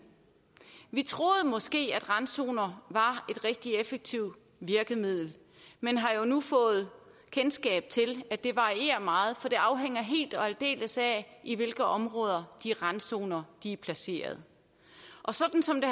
vi troede måske at randzoner var et rigtig effektivt virkemiddel men har jo nu fået kendskab til at det varierer meget for det afhænger helt og aldeles af i hvilke områder de randzoner er placeret og sådan som det